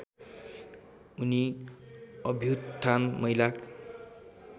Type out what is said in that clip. उनी अभ्युत्थान महिला